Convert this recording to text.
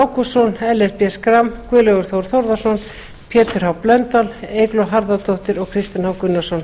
ágústsson ellert b schram guðlaugur þór þórðarson pétur h blöndal eygló harðardóttir og kristinn h gunnarsson